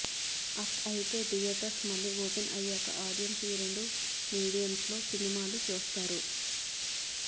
అయితే థియేటర్స్ మళ్లీ ఓపెన్ అయ్యాక ఆడియెన్స్ ఈ రెండు మీడియమ్స్లో సినిమాలు చూస్తారు